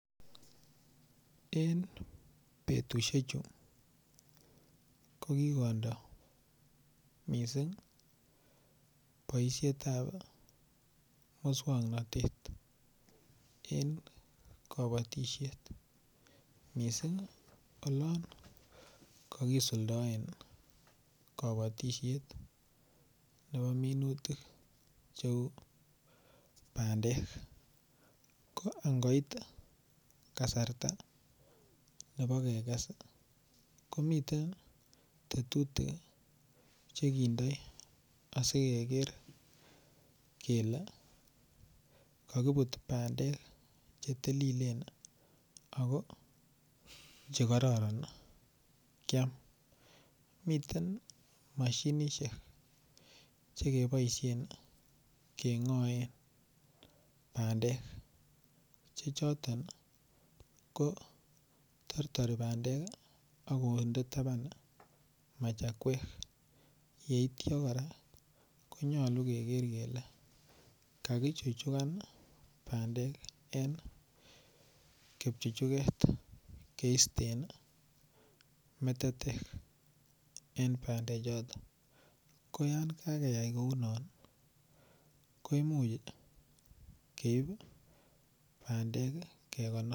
En betusiechu ko kondo mising boisiet ab moswoknatet en kabatisiet olon kakisuldaen nebo minutik cheu bandek ko angoit kasarta nebo keges komiten Che kindoi asi keger kele kakibut bandek Che tililen ako Che kororon kiam miten mashinisiek Che keboisien kengoen bandek Che choton ko tortori bandek ak konde taban machakwek yeityo kora ko nyolu keger kele kakichuchugan bandek en kipchuchuget keiste en metetek en bandechoto ko yon kakeyai kou non koimuch keib bandek kegonor